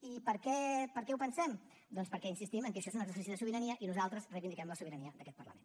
i per què ho pensem doncs perquè insistim en el fet que això és un exercici de sobirania i nosaltres reivindiquem la sobirania d’aquest parlament